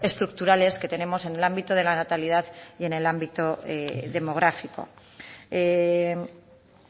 estructurales que tenemos en el ámbito de la natalidad y en el ámbito demográfico